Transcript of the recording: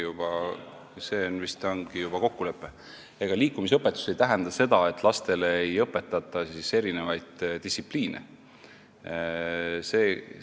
See vist ongi juba kokkulepe ja ega liikumisõpetus ei tähenda seda, et lastele erinevaid distsipliine ei õpetata.